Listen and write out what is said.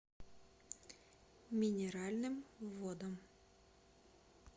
минеральным водам